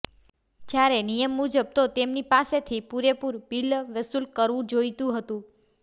જ્યારે નિયમ મુજબ તો તેમની પાસેથી પુરેપુરં બિલ વસૂલ કરવું જોઈતું હતું